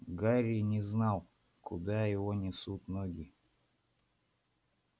гарри не знал куда его несут ноги